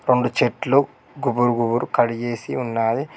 రెండు చెట్లు గుబురు గుబురు కడిగేసి ఉన్నాది.